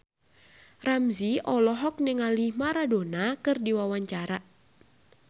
Ramzy olohok ningali Maradona keur diwawancara